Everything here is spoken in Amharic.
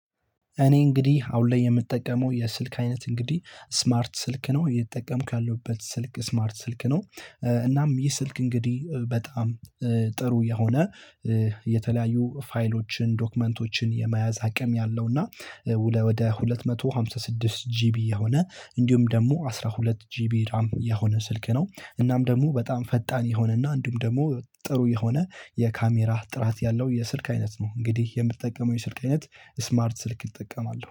እኔ እንግዲህ አሁን ላይ የምጠቀመው የስልክ አይነት እንግዲህ ስማርት ስልክ ነው የምጠቀምክ ያለውበት ስልክ ስማርት ስልክ ነው። እናም ይህ ስልክ እንግዲህ በጣም ጥሩ የሆነ የተለያዩ ፋይሎችን ዶክመንቶችን የመያዝ አቅም ያለው። እና ወደ ሁለት መቶ ሃምሳ ስድስት ጂቢ የሆነ እንዲሁም ደግሞ አስራ ሁለት ጂቢ የሆነ ስልክ ነው። እናም ደግሞ በጣም ፈጣን የሆነና አንዱም ደግሞ ጥሩ የሆነ የካሜራህ ጥራት ያለው የስልክ አይነት ነው። እንግዲህ የምትጠቀመው የስልክ አይነት ስማርት ስልክ ይጠቀማል